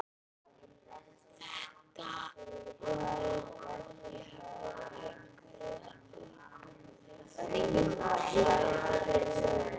Þetta hafa áreiðanlega verið einhverjir aðkomuhundarnir segir